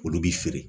Olu bi feere